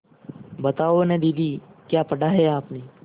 बताओ न दीदी क्या पढ़ा है आपने